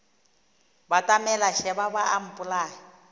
batamela šeba ba a mpolaya